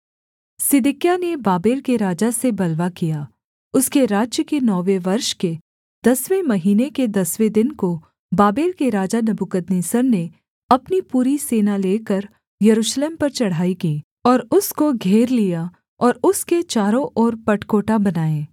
सिदकिय्याह ने बाबेल के राजा से बलवा किया उसके राज्य के नौवें वर्ष के दसवें महीने के दसवें दिन को बाबेल के राजा नबूकदनेस्सर ने अपनी पूरी सेना लेकर यरूशलेम पर चढ़ाई की और उसको घेर लिया और उसके चारों ओर पटकोटा बनाए